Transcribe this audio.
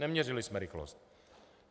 Neměřili jsme rychlost.